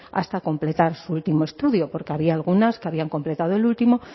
hasta completar su último estudio porque había algunas que habían completado el último